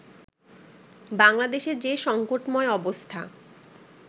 বাংলাদেশে যে সংকটময় অবস্থা